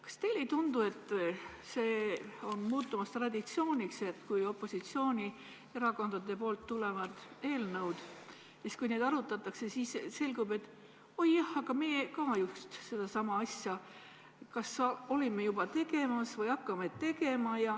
Kas teile ei tundu, et on muutumas traditsiooniks, et kui opositsioonierakondadelt tulevad eelnõud ja kui neid arutatakse, siis selgub, et oi jah, aga meie ka just sedasama asja olime kas juba tegemas või hakkame tegema.